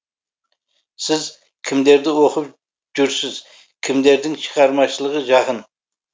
сіз кімдерді оқып жүрсіз кімдердің шығармашылығы жақын